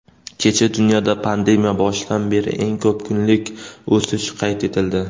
Kecha dunyoda pandemiya boshidan beri eng ko‘p kunlik o‘sish qayd etildi.